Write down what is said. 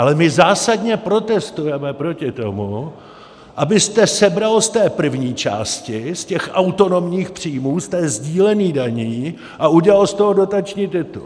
Ale my zásadně protestujeme proti tomu, abyste sebral z té první části, z těch autonomních příjmů, z těch sdílených daní a udělal z toho dotační titul.